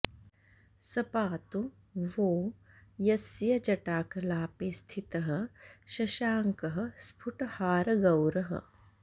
स पातु वो यस्य जटाकलापे स्थितः शशाङ्कः स्फुटहारगौरः